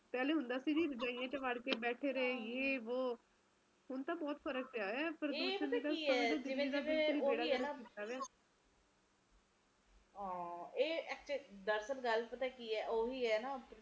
ਪਹਿਲਾ ਹੁੰਦਾ ਸੀ ਕੇ ਰਜ਼ਾਈਆਂ ਚ ਵੜਕੇ ਬੈਠੇ ਰਹੇ ਯੇ ਵੋ ਹੁਣ ਤਾ ਬਹੁਤ ਫਰਕ ਪਿਆ ਵਾ ਪ੍ਰਦੂਸ਼ਣ ਨੇ ਬੇੜਾ ਗਰਕ ਕੀਤਾ ਪਿਆ ਇਹ ਇੱਕ ਦਰਅਸਲ ਗੱਲ ਪਤਾ ਕਿ ਐ ਓਹੀ ਐ ਨਾ